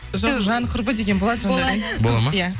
жоқ жан құрбы деген болады жандаурен бола ма иә